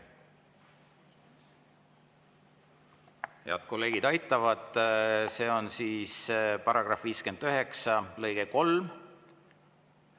Head kolleegid aitavad: see on § 59 lõige 3.